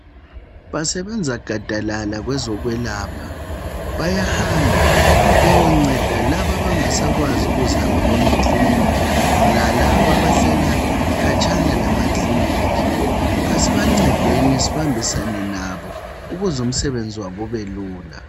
Basebenza gadalala kwezokwelapha. Bayahamba, beyonceda labo abangasakwazi ukuzihambela emaklinikhi lalabo abahlala khatshana lamaklinikhi. Asibancedeni sibambisane nabo ukuze umsebenzi wabo ubelula.